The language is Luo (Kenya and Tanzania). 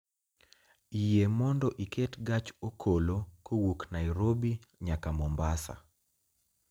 Yie mondo iket gach okolo kowuok Nairobi nyaka Mombasa